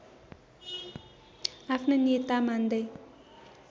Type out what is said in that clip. आफ्नो नेता मान्दै